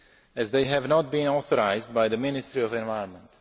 as they have not been authorised by the Ministry of the Environment.